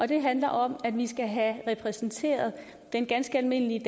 det handler om at vi skal have repræsenteret den ganske almindelige